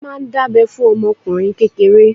Wọ́n máa ń dábẹ́ fún ọmọ ọkùnrin kékeré.